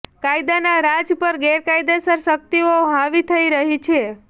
કાયદાના રાજ પર ગેરકાયેદસર શક્તિઓ હાવી થઈ રહી છે